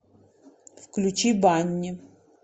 включи банни